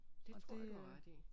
Det tror jeg du har ret i